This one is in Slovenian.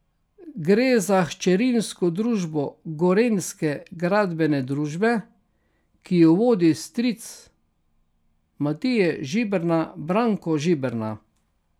Gre za hčerinsko družbo Gorenjske gradbene družbe, ki jo vodi stric Matije Žiberna Branko Žiberna.